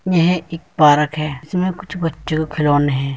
यह एक पार्क है इसमें कुछ बच्चो के खिलौने हैं।